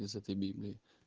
из этой библии